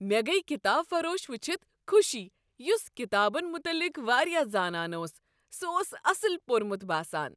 مےٚ گٔیۍ کتاب فروش ؤچھتھ خوشی یس ڪتابن متعلق واریاہ زانان اوس۔ سہ اوس اصل پۄرمت باسان۔